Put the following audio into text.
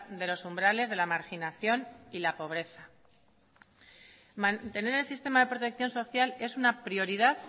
de los umbrales de la marginación y la pobreza mantener el sistema de protección social es una prioridad